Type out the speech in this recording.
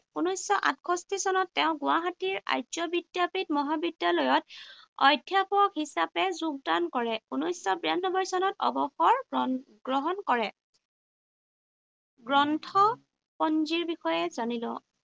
ঊনৈশশ আঠষষ্ঠী চনত তেওঁ গুৱাহাটীৰ আৰ্য বিদ্যাপীঠ মহাবিদ্যালয়ত অধ্যাপক হিচাপে যোগদান কৰে। ঊনৈশশ বিৰানব্বৈ চনত অৱসৰ গ্ৰহণ কৰে। গ্ৰন্থপঞ্জীৰ বিষয়ে জানি লওঁ।